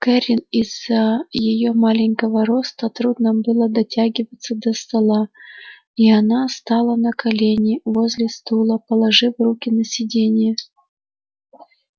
кэррин из-за её маленького роста трудно было дотягиваться до стола и она стала на колени возле стула положив руки на сиденье